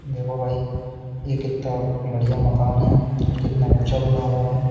देखो भाई ये कितना बढ़िया मकान है और कितना ऊंचा बना हुआ है।